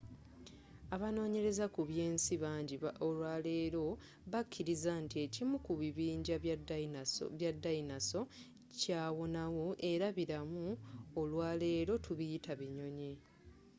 abanonyereza ku byensi bangi olwaleero bakiriza nti ekimu ku kibinja kya dayinoso kyawonawo era bilamu olwaleero tubiyita binyonyi